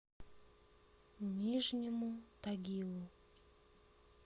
нижнему тагилу